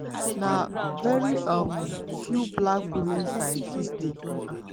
"na very um few black women scientists dey.